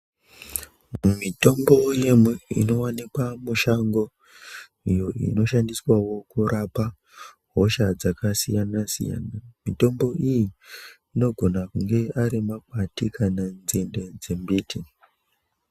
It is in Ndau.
Mitombo inowanikwa mushango iyo inoshandiswawo kurapa hosha dzakasiyana siyana, mitombo iyi inogona kunge ari makwati kana nzinde dzemuti.